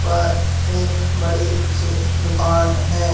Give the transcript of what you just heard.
पर एक बड़ी सी दुकान है।